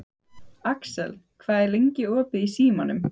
Axel, hvað er lengi opið í Símanum?